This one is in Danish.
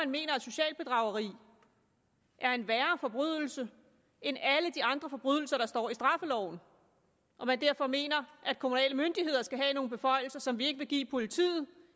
mener at socialt bedrageri er en værre forbrydelse end alle de andre forbrydelser der står i straffeloven og derfor mener at kommunale myndigheder skal have nogle beføjelser som vi ikke vil give politiet